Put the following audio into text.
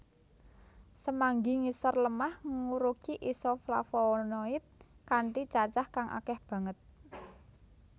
Semanggi ngisor lemah ngurugi isoflavonoid kanthi cacah kang akeh banget